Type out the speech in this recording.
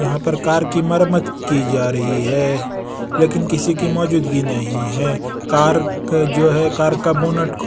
यहाँ पर कार की मरम्मत की जा रही है लेकिन किसी की मौजूदगी नहीं है कार क जो है कार का बोनट --